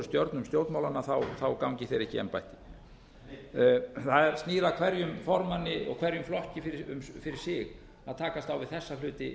stjörnum stjórnmálanna gangi þeir ekki í embætti það snýr að hverjum formanni og hverjum flokki fyrir sig að takast á við þessa hluti